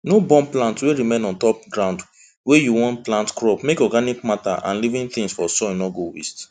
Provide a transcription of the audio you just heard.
no burn plant wey remain on top ground wey you wan plant crop make organic matter and living things for soil no go waste